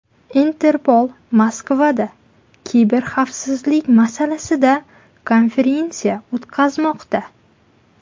Interpol Moskvada kiberxavfsizlik masalasida konferensiya o‘tkazmoqda.